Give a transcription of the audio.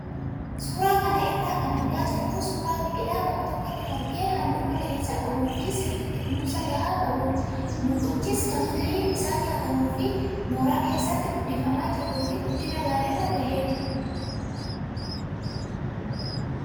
Suuraa kana irraa kan argaa jirru suuraa biqilaa bakka tokkotti margee halluu magariisa qabuu fi sirriitti kunuunsa gahaa qabudha. Mukichis kan firiin isaa nyaatamuuf mooraa keessatti guddifamaa jiruu fi guddina gaariirra gaheera.